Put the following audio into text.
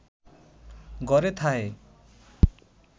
ঘরে থাহে